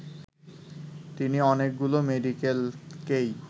তিনি অনেকগুলো মেডিকেলকেই